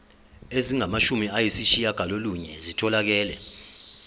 ezingamashumi ayishiyagalolunye zitholakele